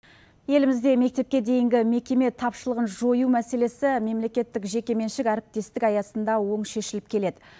елімізде мектепке дейінгі мекеме тапшылығын жою мәселесі мемлекеттік жеке меншік әріптестік аясында оң шешіліп келеді